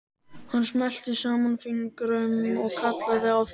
Hann smellti saman fingrum og kallaði á þjón.